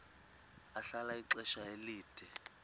ahlala ixesha elide